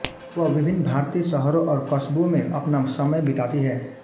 वह विभिन्न भारतीय शहरों और कस्बों में अपना समय बिताती हैं